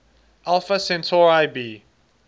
alpha centauri b